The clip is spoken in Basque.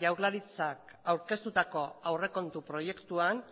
jaurlaritzak aurkeztutako aurrekontu proiektuan